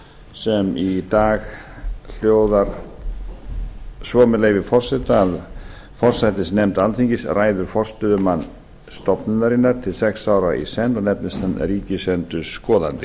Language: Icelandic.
sem í dag hljóðar svo með leyfi forseta að forsætisnefnd alþingis ræður forstöðumann stofnunarinnar til sex ára í senn og nefnist hann ríkisendurskoðandi